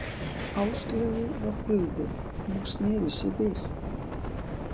Áslaugu var brugðið þegar hún sneri sér við.